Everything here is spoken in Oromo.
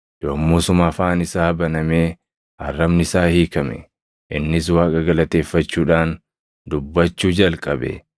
Yommusuma afaan isaa banamee arrabni isaa hiikame; innis Waaqa galateeffachuudhaan dubbachuu jalqabe.